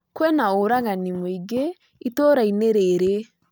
Kwĩna ũragani mũingĩ itũũrainĩ rĩĩrĩ